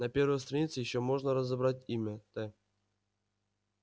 на первой странице ещё можно разобрать имя т